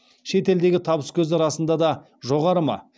шет елдегі табыскөзі расында да жоғары ма